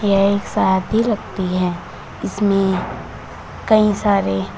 यह एक सादी लगती है इसमें कई सारे--